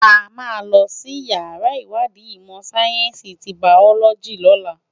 Ámá wá ninú iyàrá iwádi imò sáyènsi ti báyólòji lòlá